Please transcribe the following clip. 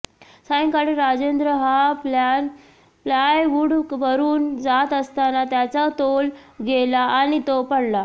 सायंकाळी राजेंद्र हा प्लायवूडवरून जात असताना त्याचा तोल गेला आणि तो पडला